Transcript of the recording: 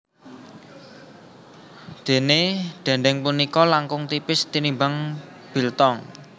Déné dhèndhèng punika langkung tipis tinimbang biltong